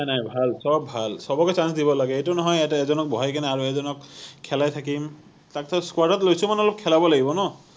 নাই নাই ভাল সৱ ভাল সৱকে chance দিব লাগে এইটো নহয় ইয়াতে এজনক বহাই কিনে আৰু এজনক খেলাই থাকিম তাৰপাছত squad ত লৈছো মানে অলপ খেলাবই লাগিব ন